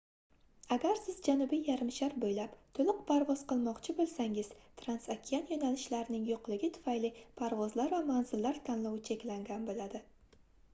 agar siz janubiy yarimshar boʻylab toʻliq parvoz qilmoqchi boʻlsangiz transokean yoʻnalishlarning yoʻqligi tufayli parvozlar va manzillar tanlovi cheklangan boʻladi